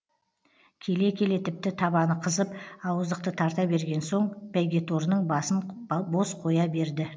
келе келе тіпті табаны қызып ауыздықты тарта берген соң бәйгеторының басын бос қоя берді